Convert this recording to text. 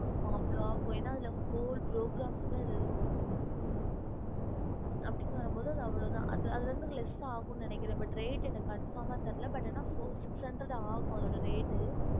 ஆமா என அதுல gol program books அதுல இருக்கும் அப்டினு வரும் போது அது அவ்ளோதா அதுவந்து leas ஆகும் but reat six hundred reat ஆகும்